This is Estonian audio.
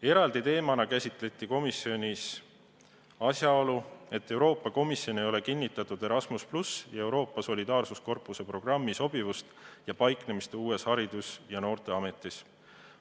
Eraldi teemana käsitleti komisjonis asjaolu, et Euroopa Komisjon ei ole kinnitatud Erasmus+ ja Euroopa Solidaarsuskorpuse programmi sobivust ja sellega tegelemist uues Haridus- ja Noorteametis.